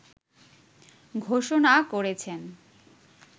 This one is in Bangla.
ঘোষণা করেছেন